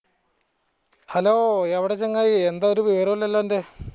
hello എവടെ ചങ്ങായി എന്താ ഒരു വിവരോ ഇല്ലാലോ അൻ്റെ